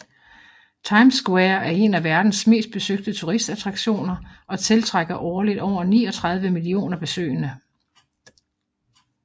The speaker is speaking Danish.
Times Square er en af verdens mest besøgte turist attraktioner og tiltrækker årligt over 39 millioner besøgende